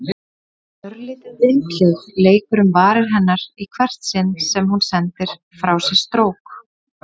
Örlítið vindhljóð leikur um varir hennar í hvert sinn sem hún sendir frá sér strók.